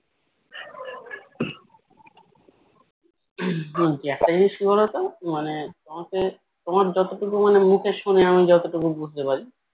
একটা জিনিস কি বলতো মানে তোমাকে তোমার যতটুকু মানে মুখে শুনে আমি যতটুকু বুঝতে পারি